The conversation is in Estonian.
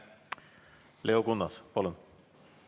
Leo Kunnas, palun!